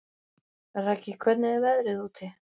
Raggi, hvernig er veðrið úti?